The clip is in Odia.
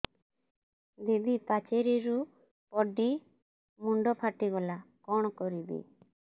ଦିଦି ପାଚେରୀରୁ ପଡି ମୁଣ୍ଡ ଫାଟିଗଲା କଣ କରିବି